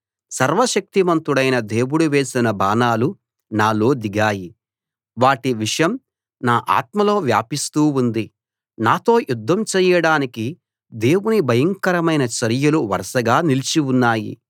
సర్వశక్తిమంతుడైన దేవుడు వేసిన బాణాలు నాలో దిగాయి వాటి విషం నా ఆత్మలో వ్యాపిస్తూ ఉంది నాతో యుద్ధం చేయడానికి దేవుని భయంకరమైన చర్యలు వరసగా నిలిచి ఉన్నాయి